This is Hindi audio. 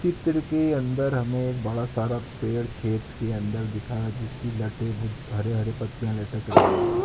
चित्र के अंदर हमें एक बड़ा सारा पेड़ खेत के अंदर दिखाया जिसकी लटे बोहत हरे-हरे पत्तियां लटक रही हैं।